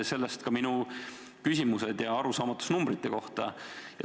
Sellest ka minu küsimused ja arusaamatus numbrite koha pealt.